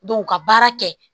ka baara kɛ